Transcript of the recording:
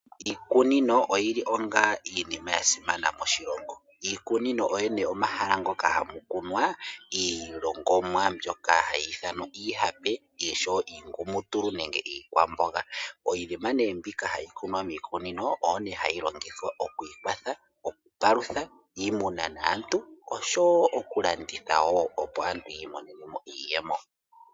Iikunino oyi li onga iinima ya simana moshilongo. Iikunino oyo nee omahala ngoka hamu kunwa iilongomwa mbyoka hayi ithanwa iihape osho wo iingumutulu nenge iikwamboga. Iinima nee mbika hayi kunwa miikunino oyo ne hayi longithwa okwiikwatha, okupalutha iimuna naantu, osho wo okulanditha opo aantu ya imonene mo iiyemo.